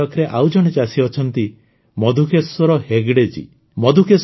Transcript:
କର୍ଣ୍ଣାଟକରେ ଆଉ ଜଣେ ଚାଷୀ ଅଛନ୍ତି ମଧୁକେଶ୍ୱର ହେଗଡେ ଜୀ